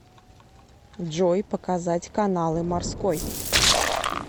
джой показать каналы морской